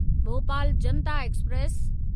Bhopal Janata express